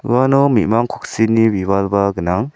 uano me·mang koksini bibalba gnang.